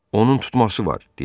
Onun tutması var,